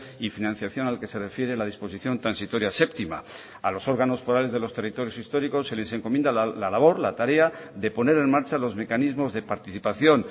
y financiación al que se refiere la disposición transitoria séptima a los órganos forales de los territorios históricos se les encomienda la labor la tarea de poner en marcha los mecanismos de participación